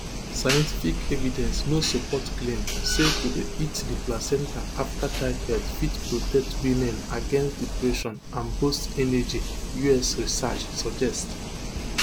scientific evidence no support claim say to dey eat di placenta afta childbirth fit protect women against depression and boost energy us research suggest